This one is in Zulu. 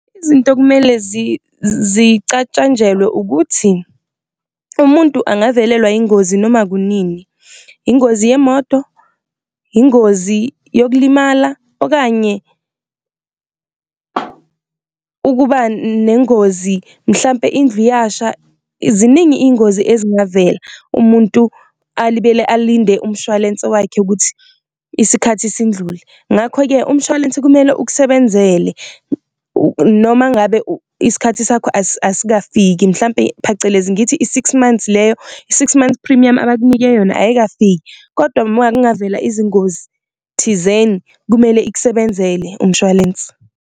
Izinto kumele zicatshanjwelwe ukuthi umuntu angavelelwa yingozi noma kunini, ingozi yemoto, ingozi yokulimala, okanye ukuba nengozi mhlampe indlu iyasha, ziningi iyingozi ezingavela umuntu alibele alinde umshwalense wakhe ukuthi isikhathi sindlule. Ngakho-ke umshwalense kumele ukusebenzele noma ngabe isikhathi sakho asikafiki, mhlampe phecelezi ngithi i-six months leyo, i-six months premium abakunike yona ayikafiki kodwa izingozi thizeni kumele ikusebenzele umshwalensi.